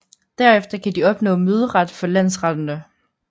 Derefter kan de opnå møderet for landsretterne